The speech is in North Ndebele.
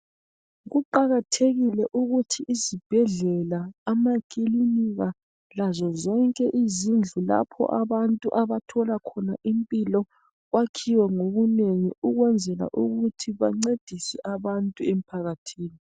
Kuqakathekile ukuthi izibhedlela amakilinika lazo zonke izindlu lapho abantu abathola khona impilo kwakhiwe ngobunengi ukwenzela ukuthi bancedise abantu emphakathini.